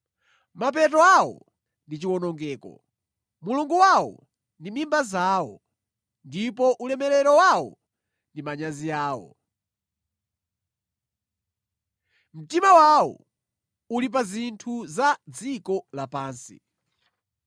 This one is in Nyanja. Mapeto awo ndi chiwonongeko, mulungu wawo ndi mimba zawo, ndipo ulemerero wawo ndi manyazi awo. Mtima wawo uli pa zinthu za dziko lapansi.